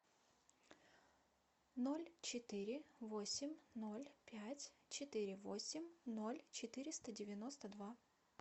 ноль четыре восемь ноль пять четыре восемь ноль четыреста девяносто два